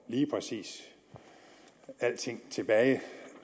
lige præcis får alting tilbage